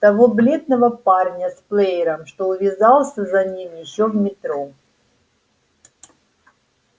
того бледного парня с плеером что увязался за ним ещё в метро